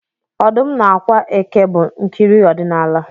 Ọdụm na ákwà eke bụ nkiri odinala